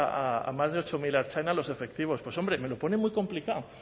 a más de ocho mil ertzainas los efectivos hombre me lo pone muy complicado